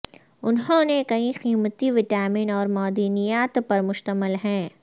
انہوں نے کئی قیمتی وٹامن اور معدنیات پر مشتمل ہیں